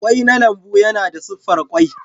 Ƙwai na lambu yana da siffar ƙwai.